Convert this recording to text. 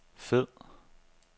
fed